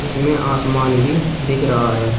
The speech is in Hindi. इसमें आसमान भी दिख रहा है।